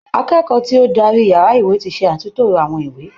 Akẹ́kọ̀ọ́ tí ó dárí yàrá ìwé ti ṣe àtúntó àwọn ìwé.